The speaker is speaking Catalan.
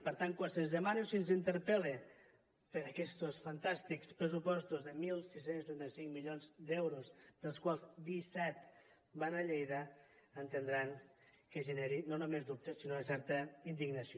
per tant quan se’ns demana o se’ns interpel·la per aquestos fantàstics pressupostos de setze trenta cinc milions d’euros dels quals disset van a lleida entendran que generi no només dubtes sinó una certa indignació